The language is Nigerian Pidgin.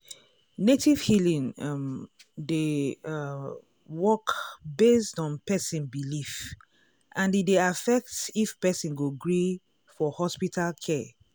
native healing um dey um work based on person belief and e dey affect if person go gree for hospital care.